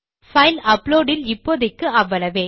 file upload இல் இப்போதைக்கு அவ்வளவே